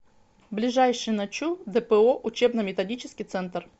ближайший ночу дпо учебно методический центр